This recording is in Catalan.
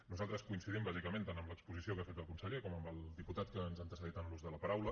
nosaltres coincidim bàsicament tant en l’exposició que ha fet el conseller com amb el diputat que ens ha antecedit en l’ús de la paraula